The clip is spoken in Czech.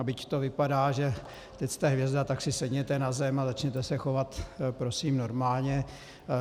A byť to vypadá, že teď jste hvězda, tak si sedněte na zem a začněte se chovat prosím normálně.